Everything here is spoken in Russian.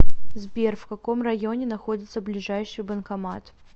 сбер в каком районе находится ближайший банкомат